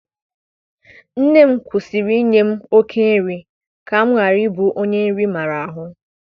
Nne m kwusịrị inye m oké nri ka m ghara ịbụ onye nri maara ahụ.